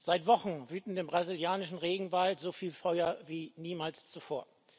Seit Wochen wüten im brasilianischen Regenwald so viele Feuer wie niemals zuvor.